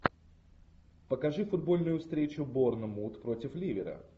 покажи футбольную встречу борнмут против ливера